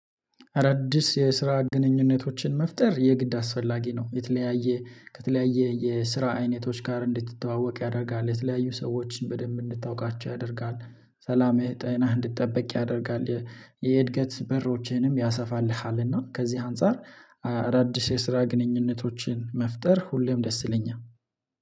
አዳዲስ የስራ ግንኙነቶችን መፍጠር የግድ አስፈላጊ ነው። የተለያየ ከተለያየ የስራ አይነቶች ጋር እንድትተዋወቅ ያደርጋል የተለያዩ ሰዎችን በደንብ እንድታውቃቸው ያደርጋል። ሰላምህ ጤናህ እንድትጠብቅ ያደርጋል። የእድገት በሮችህንም ያሰፋልሃል እና ከዚህ አንፃር አዳዲስ የስራ ግንኙነቶችን መፍጠር ሁሌም ደስ ይለኛል